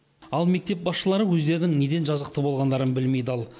ал мектеп басшылары өздерінің неден жазықты болғандарын білмей дал